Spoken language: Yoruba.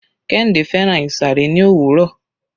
Kehinde fẹ́ràn ìsàré ní òwúrọ̀.